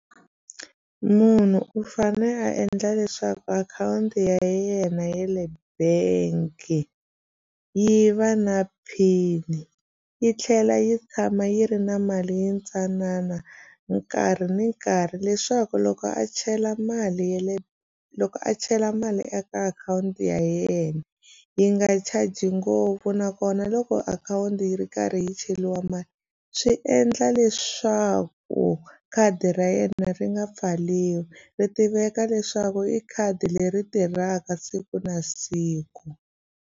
Munhu u fane a endla leswaku akhawunti ya yena yale bank yi va na pin yi tlhela yi tshama yi ri na mali yintsanana nkarhi ni nkarhi leswaku loko a chela mali ya le loko a chela mali eka akhawunti ya yena yi nga charge ngopfu nakona loko akhawunti yi ri karhi yi cheriwa mali swi endla leswaku khadi ra yena ri nga pfaliwi ri tiveka leswaku i khadi leri tirhaka siku na siku.